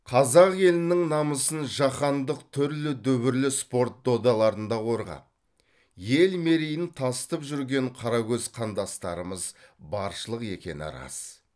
қазақ елінің намысын жаһандық түрлі дүбірлі спорт додаларында қорғап ел мерейін тасытып жүрген қаракөз қандастарымыз баршылық екені рас